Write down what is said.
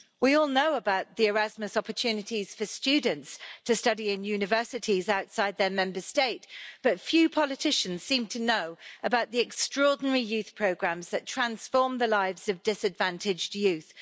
We all know about the Erasmus opportunities for students to study in universities outside their Member States, but few politicians seem to know about the extraordinary youth programmes that transform the lives of disadvantaged youth.